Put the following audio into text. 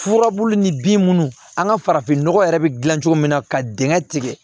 Furabulu ni bin minnu an ka farafinnɔgɔ yɛrɛ bɛ dilan cogo min na ka dingɛ tigɛ